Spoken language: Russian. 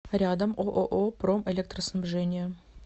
рядом ооо промэлектроснабжение